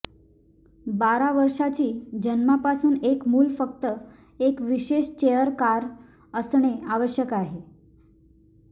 बारा वर्षाची जन्मापासून एक मूल फक्त एक विशेष चेअर कार असणे आवश्यक आहे